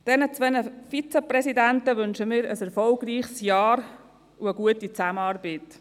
Den zwei Vizepräsidenten wünschen wir ein erfolgreiches Jahr und eine gute Zusammenarbeit.